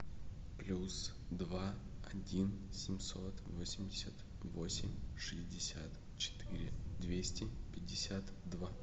плюс два один семьсот восемьдесят восемь шестьдесят четыре двести пятьдесят два